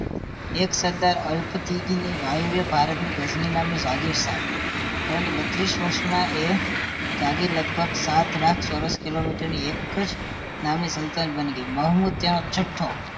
એક સદ અલ્પા થી ભારતમાં ગજની નામની જાગીર સ્થાપી પરંતુ બત્રીસ વર્ષમાં એ જાગીર લગભગ સાત લાખ ચોરસ કિલોમીટર એક જ નામની સંતલન બની ગઈ મોહમ્મદ એ છઠ્ઠો